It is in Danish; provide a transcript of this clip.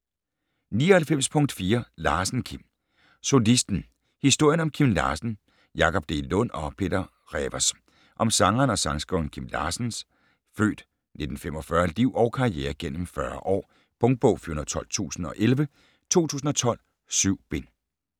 99.4 Larsen, Kim Solisten: historien om Kim Larsen Jakob D. Lund og Peter Rewers Om sangeren og sangskriveren Kim Larsens (f. 1945) liv og karriere gennem 40 år. Punktbog 412011 2012. 7 bind.